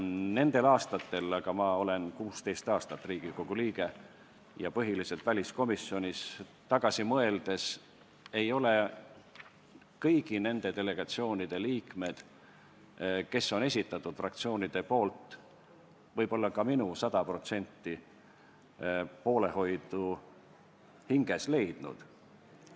Nendele aastatele – ma olen 16 aastat olnud Riigikogu liige ja olen põhiliselt olnud väliskomisjonis – tagasi mõeldes võin öelda, et kõik need delegatsioonide liikmed, keda fraktsioonid on esitanud, ei ole võib-olla ka minu hinges sajaprotsendilist poolehoidu leidnud.